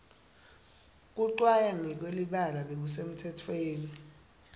kucwaya ngekwelibala bekusemtsetweni